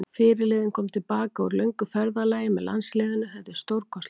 Fyrirliðinn kom til baka úr löngu ferðalagi með landsliðinu, þetta er stórkostlegt.